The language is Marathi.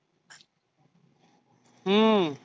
हम्म